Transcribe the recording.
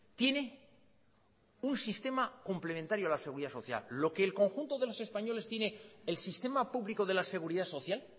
tiene un sistema complementario en la seguridad social lo que el conjunto de los españoles tiene el sistema público de la seguridad social